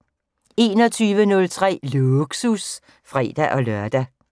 21:03: Lågsus (fre-lør)